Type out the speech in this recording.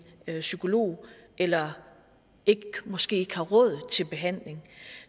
psykolog eller måske ikke har råd til behandling